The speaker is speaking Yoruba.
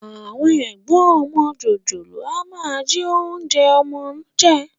Àwọn ẹ̀gbọ́n ọmọ jòjòló a máa jí oúnjẹ ọmọ jẹ